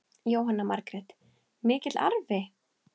Jóhanna Margrét: Mikill arfi?